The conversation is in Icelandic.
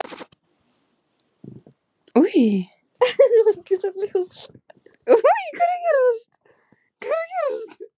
En þarf maður að vera róttækur til að skrá sig í skólann?